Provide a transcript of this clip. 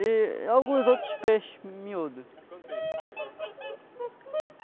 E alguns outros peixes miúdos. E quanto tempo fica aí na água?